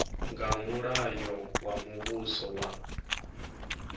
nga mulayo wa muvhuso wa